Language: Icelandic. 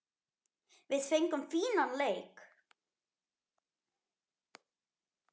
Við fengum fínan leik.